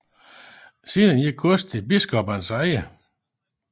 Senere gik godset i biskoppernes eje